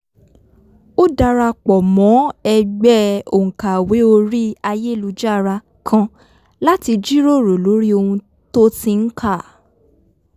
ó darapọ̀ mọ́ ẹgbẹ́ òǹkàwé orí ayélujára kan láti jíròrò lórí ohun tó ti ń kà